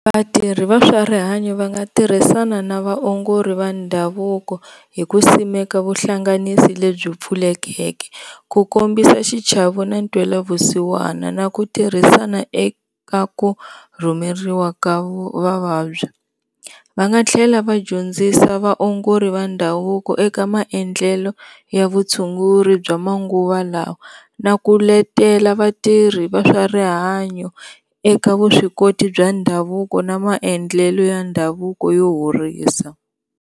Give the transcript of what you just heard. Vatirhi va swa rihanyo va nga tirhisana na vaongori va ndhavuko hi ku simeka vuhlanganisi lebyi pfulekeke, ku kombisa xichava na ntwelavusiwana na ku tirhisana eka ku rhumeriwa ka vavabyi va nga tlhela vadyondzisa vaongori va ndhavuko eka maendlele ya vutshunguri bya manguva lawa na ku letela vatirhi va swa rihanyo eka vuswikoti bya ndhavuko na maendlelo ya ndhavuko yo horisa.